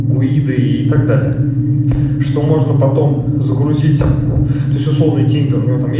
гуиды и так далее что можно потом загрузить ты словно тень горы